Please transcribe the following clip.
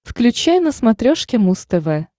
включай на смотрешке муз тв